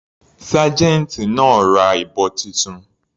Sergeant náà ra ìbọn titun.